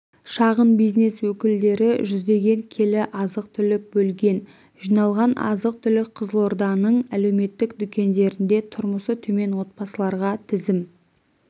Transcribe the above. шағын бизнес өкілдері жүздеген келі азық-түлік бөлген жиналған азық-түлік қызылорданың әлеуметтік дүкендерінде тұрмысы төмен отбасыларға тізім